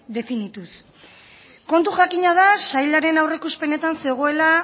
definituz kontu jakina da sailaren aurreikuspenetan zegoela